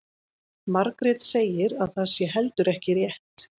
Margrét segir að það sé heldur ekki rétt.